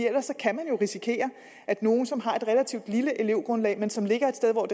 ellers kan vi jo risikere at nogle som har et relativt lille elevgrundlag men som ligger et sted hvor